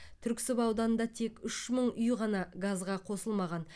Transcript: түрксіб ауданында тек үш мың үй ғана газға қосылмаған